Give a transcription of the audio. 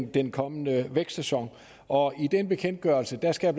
den kommende vækstsæson og i den bekendtgørelse skal